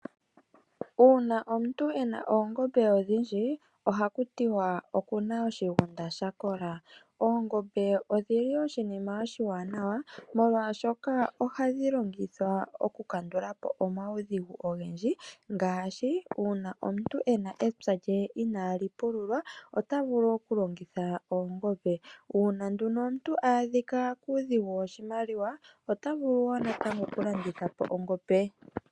Uuna omuntu ena oongombe odhindji ohaku tiwa okuna oshigunda sha kola. Oongombe odhili oshinima oshiwanawa molwaashoka ohadhi longithwa okukandula po omaudhigu ogendji. Ngaashi uuna omuntu ena epya lye inaali pululwa ota vulu okulongitha oongombe. Uuna nduno omuntu a adhika kuudhigu woshimaliwa ota vulu wo natango okulanditha po ongombe.